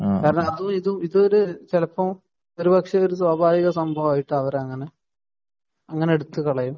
കാരണം അതുമിതും ഇത് ചിലപ്പോൾ ഒരു സ്വാഭാവിക സംഭവമായിട്ടാണ് അങ്ങനെ എടുത്തുകളയും